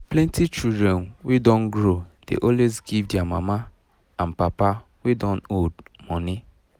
plenty children wey don grow dey always give their mama and papa wey don old money